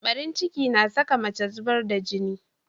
Barin ciki na saka mace zubar da jini.